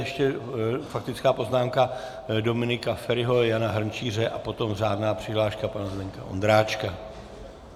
Ještě faktická poznámka Dominika Feriho, Jana Hrnčíře a potom řádná přihláška pana Zdeňka Ondráčka.